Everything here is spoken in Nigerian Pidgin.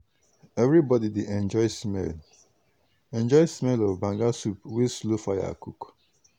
everybody dey enjoy smell enjoy smell of banga soup wey slow fire cook.